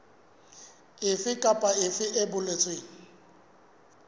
efe kapa efe e boletsweng